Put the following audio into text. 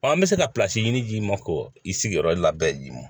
an bɛ se ka ɲini k'i ma k'o i sigiyɔrɔ labɛn d'i ma